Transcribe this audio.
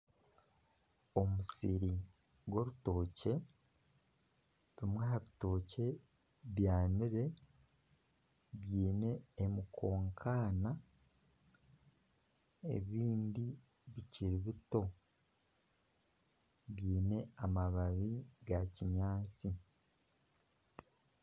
Omusiri gw'orutookye bimwe aha bitookye byanire byine emikankana ebindi bikiri bito biine amababi gakinyaansi.